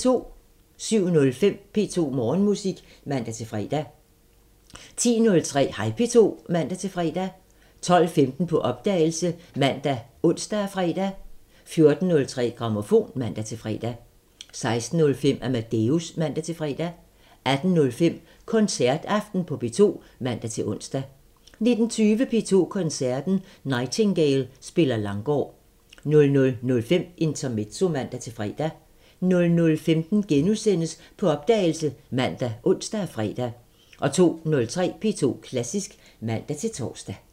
07:05: P2 Morgenmusik (man-fre) 10:03: Hej P2 (man-fre) 12:15: På opdagelse ( man, ons, fre) 14:03: Grammofon (man-fre) 16:05: Amadeus (man-fre) 18:05: Koncertaften på P2 (man-ons) 19:20: P2 Koncerten – Nightingale spiller Langgaard 00:05: Intermezzo (man-fre) 00:15: På opdagelse *( man, ons, fre) 02:03: P2 Klassisk (man-tor)